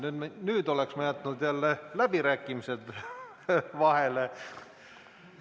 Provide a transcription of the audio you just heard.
Nüüd oleksin jätnud jälle läbirääkimised vahele.